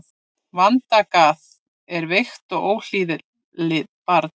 Vandagað er veikt og óhlýðið barn.